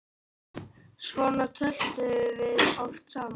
Svona töluðum við oft saman.